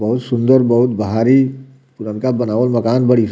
बहुत सुन्दर बहुत भारी पुरनका बनावल मकान बड़ी --